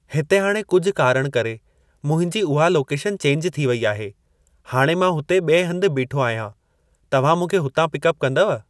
हिते हाणे कुझु कारण करे मुंहिंजी उहा लोकेशन चेंज थी वई आहे, हाणे मां हुते ॿिए हंध ते बीठो आहियां। तव्हां मूंखे हुतां पिकअप कंदव?